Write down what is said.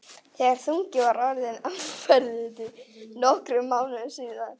þegar þunginn var orðinn áberandi, nokkrum mánuðum síðar.